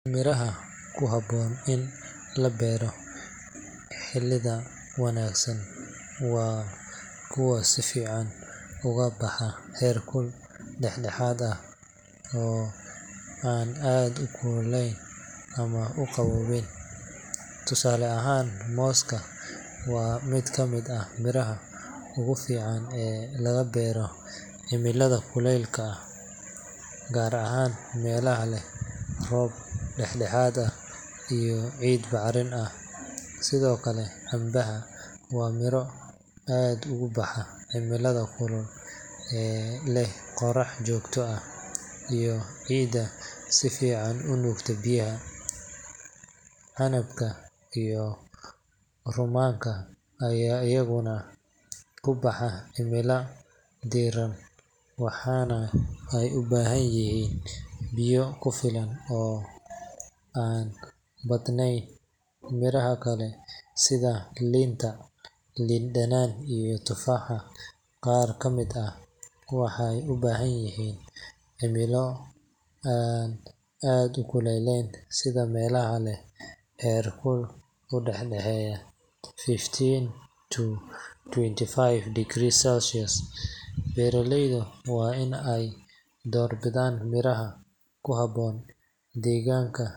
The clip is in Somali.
Miraha ku habboon in la beero cimilada wanaagsan waa kuwa si fiican ugu baxa heerkul dhexdhexaad ah, oo aan aad u kululayn ama u qabownayn. Tusaale ahaan, mooska waa mid ka mid ah miraha ugu fiican ee laga beero cimilada kuleylka leh, gaar ahaan meelaha leh roob dhexdhexaad ah iyo ciid bacrin ah. Sidoo kale, cambaha waa miro aad ugu baxa cimilada kulul ee leh qorax joogto ah iyo ciidda si fiican u nuugta biyaha. Canabka iyo rummaanka ayaa iyaguna ku baxa cimilada diiran, waxaana ay u baahan yihiin biyo ku filan oo aan badnayn. Miraha kale sida liinta, liin dhanaanta, iyo tufaaxa qaar ka mid ah, waxay u baahan yihiin cimilo aan aad u kululayn, sida meelaha leh heerkul u dhaxeeya fifteen to twenty five degrees Celsius. Beeraleyda waa in ay door bidaan miraha ku habboon deegaanka.